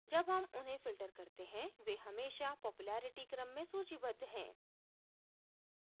जब हम उन्हें filter करते हैं वे हमेशा popularity क्रम में सूचीबद्ध हैं